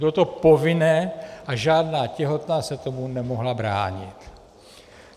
Bylo to povinné a žádná těhotná se tomu nemohla bránit.